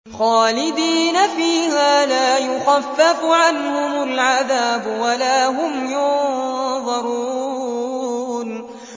خَالِدِينَ فِيهَا ۖ لَا يُخَفَّفُ عَنْهُمُ الْعَذَابُ وَلَا هُمْ يُنظَرُونَ